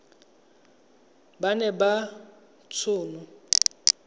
ba na le t hono